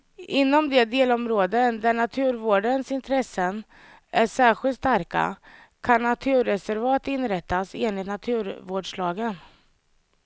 Inom de delområden där naturvårdens intressen är särskilt starka kan naturreservat inrättas enligt naturvårdslagen.